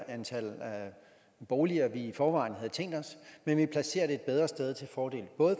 antal boliger vi i forvejen havde tænkt os men vi placerer det et bedre sted til fordel